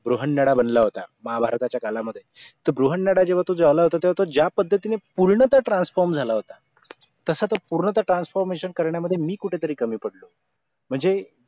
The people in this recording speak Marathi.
गृहन्नडा बनला होता महाभारताच्या काळामध्ये तो गृहन्नडा जेव्हा तो झाला होता तेव्हा तो ज्यापद्धतीने पूर्णतः transform झाला होता तसा तो पूर्णतः transformation करण्या मध्ये मी कुठेतरी कमी पडलो म्हणजे